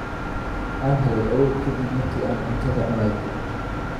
Waxan heelay awood kadib marki aan cuntada cunay